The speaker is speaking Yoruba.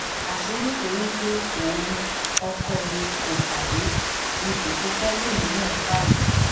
àṣé nítorí pé òun ọkọ mi kò kàwé ni kò ṣe fẹ́ kí èmi náà kàwé